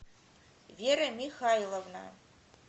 вера михайловна